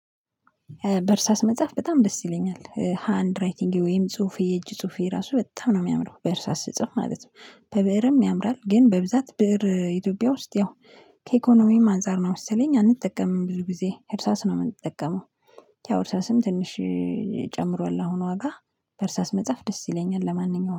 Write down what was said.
በእርሳስ መጻፍ በጣም ደስ ይለኛል ሃንድ ራይቲንጌ ወይም ጽሁፌ የእጅ ጽሁፌ ራሱ በጣም ነው የሚያምረው በእርሳስ ስጽፍ ማለት ነው። በብእርም ያምራል ግን በብዛት ብእር ኢትዮጵያ ውስጥ ያው ከኢኮኖሚም አንፃር ነው መሰለኝ አንጠቀምም ብዙ ጊዜ እርሳስ ነው የምንጠቀመው። ያው እርሳስም ትንሽ ጨምሯል። አሁን ዋጋ በእርሳስ መጻፍ ደስ ይለኛል ለማንኛውም